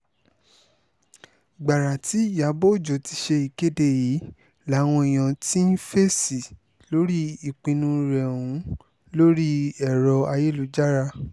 gbàrà tí ìyàbọ̀ ọjọ́ ti ṣe ìkéde yìí làwọn èèyàn ti ń fèsì lórí ìpinnu rẹ̀ ọ̀hún lórí ẹ̀rọ ayélujára